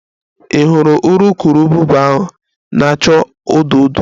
Ị hụrụ urukurubụba ahụ na-acha odo odo?